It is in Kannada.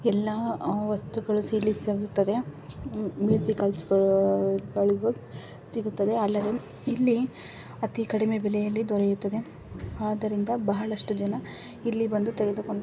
ಎಲ್ಲಾಅ ವಸ್ತುಗಳೂ ಸಹ ಇಲ್ಲಿ ಸಿಗುತ್ತದೆ. ಮ್-- ಮ್ಯೂಸಿಕಲ್ಸ್ ಗಳು ಸಿಗುತ್ತದೆ. ಅಲ್ಲದೆ ಇಲ್ಲಿ ಅತಿ ಕಡಿಮೆ ಬೆಲೆಯಲ್ಲಿ ದೊರೆಯುತ್ತದೆ. ಆದರಿಂದ ಬಹಳಷ್ಟು ಜನ ಇಲ್ಲಿ ಬಂದು ತೆಗೆದುಕೊಂಡು--